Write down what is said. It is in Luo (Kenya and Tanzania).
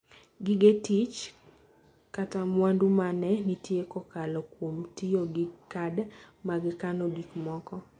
Gige tich / mwandu ma ne nitie kokalo kuom tiyo gi kad mag kano gik moko.